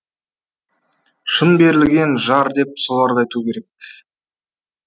шын берілген жар деп соларды айту керек